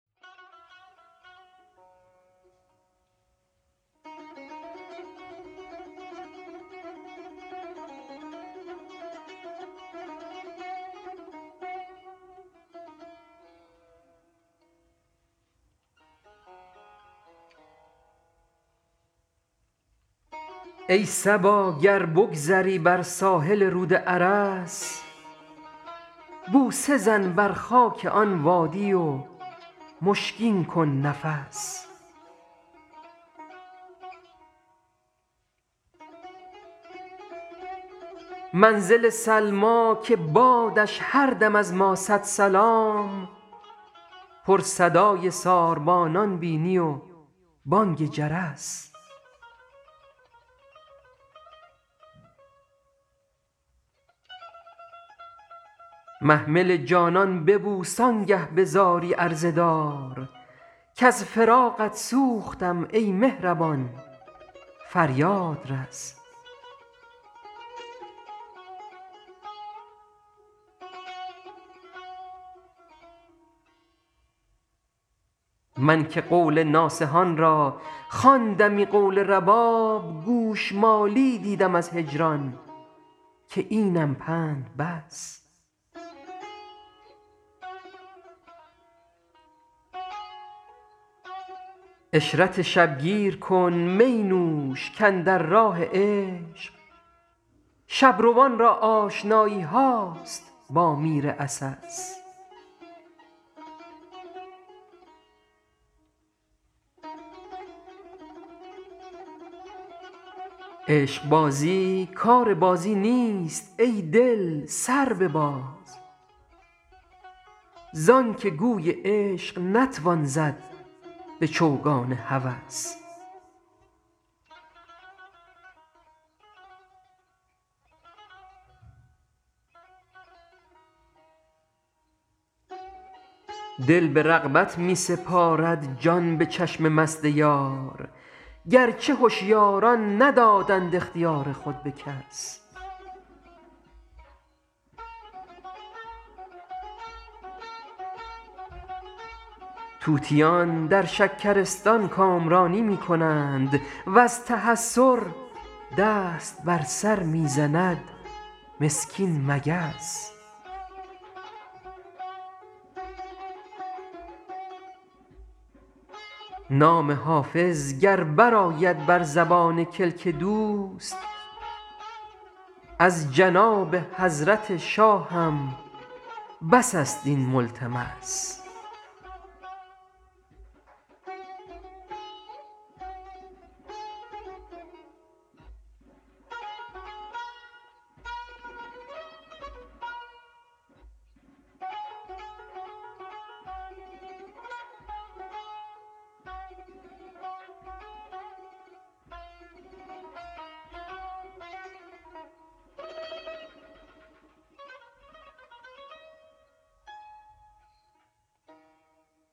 ای صبا گر بگذری بر ساحل رود ارس بوسه زن بر خاک آن وادی و مشکین کن نفس منزل سلمی که بادش هر دم از ما صد سلام پر صدای ساربانان بینی و بانگ جرس محمل جانان ببوس آن گه به زاری عرضه دار کز فراقت سوختم ای مهربان فریاد رس من که قول ناصحان را خواندمی قول رباب گوش مالی دیدم از هجران که اینم پند بس عشرت شب گیر کن می نوش کاندر راه عشق شب روان را آشنایی هاست با میر عسس عشق بازی کار بازی نیست ای دل سر بباز زان که گوی عشق نتوان زد به چوگان هوس دل به رغبت می سپارد جان به چشم مست یار گر چه هشیاران ندادند اختیار خود به کس طوطیان در شکرستان کامرانی می کنند و از تحسر دست بر سر می زند مسکین مگس نام حافظ گر برآید بر زبان کلک دوست از جناب حضرت شاهم بس است این ملتمس